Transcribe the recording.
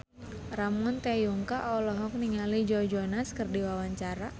Ramon T. Yungka olohok ningali Joe Jonas keur diwawancara